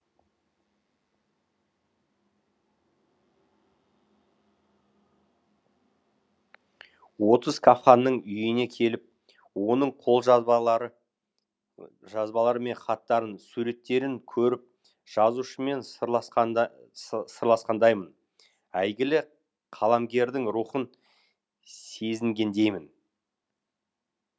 отыз кафканың үйіне келіп оның қолжазбалары жазбалары мен хаттарын суреттерін көріп жазушымен сырласқанда сырласқандаймын әйгілі қаламгердің рухын сезінгендеймін